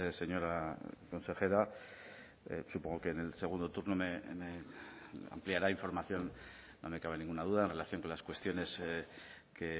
señora consejera supongo que en el segundo turno me ampliará información no me cabe ninguna duda en relación con las cuestiones que